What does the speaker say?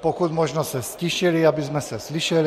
pokud možno se ztišili, abychom se slyšeli.